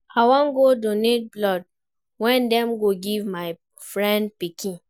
I wan go donate blood wey dem go give my friend pikin.